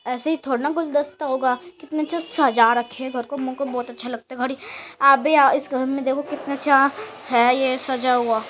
ऐसे ही थोड़ी न गुलदस्ता होगा। कितने अच्छे सजा रखे हैं। घर को मे को बहोत अच्छा लगता है। घर आप भी अ इस घर में देखो कितने अच्छे है ये सजा हुआ